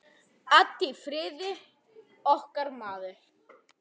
Addi í Firði, okkar maður.